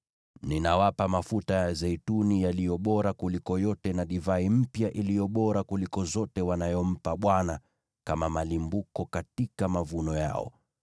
“Ninawapa mafuta ya zeituni yaliyo bora kuliko yote, na divai mpya iliyo bora kuliko zote na nafaka wanazompa Bwana kama malimbuko katika mavuno yao.